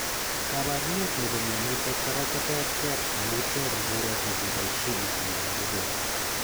Kabarunet nepo mionitok kora koter ter amu ter mbireet negebaishe itondo nebo borto.